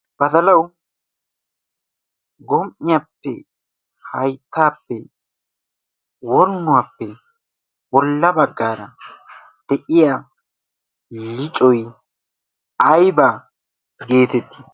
batalau gom''iyaappe hayttaappe woynnuwaappe bolla baggaara de'iya licoy aybaa geetettii